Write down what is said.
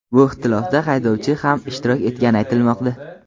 Bu ixtilofda haydovchi ham ishtirok etgani aytilmoqda.